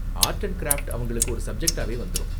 Art and craft அவங்களுக்கு ஒரு சப்ஜெக்டாவே வந்துரும்.